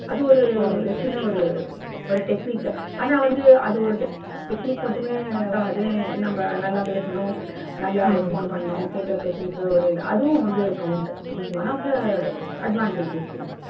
அது ஒரு ஒரு சின்ன ஒரு ஒரு technic. ஆனா வந்து அது ஒரு technic மட்டுமே நம்ப நல்லா பேசணும் நல்லா respond பண்ணனும் கேக்கற question க்கு அதுவும் வந்து count one of the advantage இது.